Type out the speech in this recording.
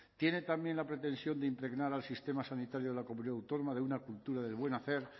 tiene también la pretensión de impregnar al sistema sanitario de la comunidad autónoma de una cultura del buen hacer